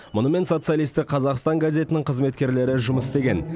мұнымен социалистік қазақстан газетінің қызметкерлері жұмыс істеген